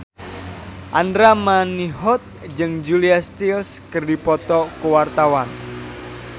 Andra Manihot jeung Julia Stiles keur dipoto ku wartawan